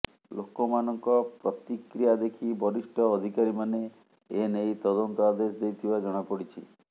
ଲୋକମାନଙ୍କ ପ୍ରତିକ୍ରିୟା ଦେଖି ବରିଷ୍ଠ ଅଧିକାରୀମାନେ ଏ ନେଇ ତଦନ୍ତ ଆଦେଶ ଦେଇଥିବା ଜଣାପଡ଼ିଛି